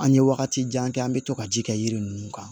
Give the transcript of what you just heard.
An ye wagatijan kɛ an bɛ to ka ji kɛ yiri ninnu kan